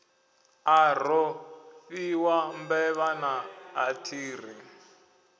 a rofhiwa mbevha naa athiri